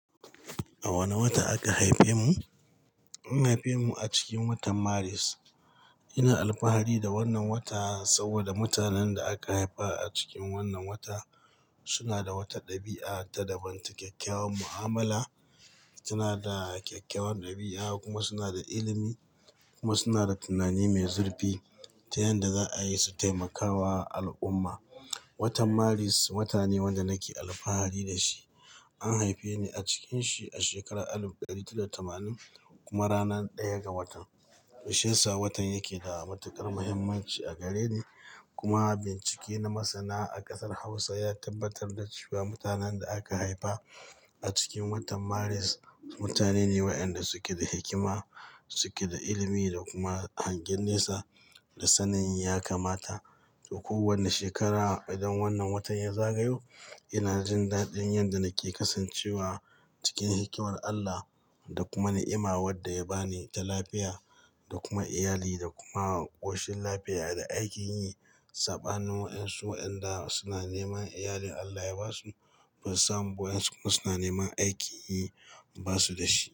A wane wata aka haife mu? An haife mu a cikin watan Maris. Ina alfahari da wannan wata saboda mutanen da aka haifa a cikin wannan wata suna da wata ɗabi'a ta daban t kyakkyawar mu'amala. Suna da kyakkyawar ɗabi'a kuma suna da ilimi kuma suna da tunani mai zurfi ta yanda za'a yi su taimakawa al'umma. Watan Maris wata ne wanda nake alfahari da shi. An haife ni a cikanshi a shekara alif dari talatin da tamanin kuma rana ɗaya ga watan. Shiyasa watan yake da matuƙar muhimmanci a gareni. Kuma bincike na masana a ƙasar Hausa ya tabbatar da cewa mutanen da aka haifa a cikin watan Maris mutane ne waɗanda suke da hikima, suke da ilimi da kuma hangen nesa da sanin ya kamata. To kowane shekara idan wannan wata ya zagayo ina jin dadin yanda nake kasancewa cikin hikimar Allah da kuma ni'ima wadda ya bani ta lafiya da kuma iyali da kuma ƙoshin lafiya da aikin yi. Saɓanin wayansu wayanda suna neman iyalin Allah ya basu, basu samu ba wayansu kuma suna neman aikin yi basu da shi.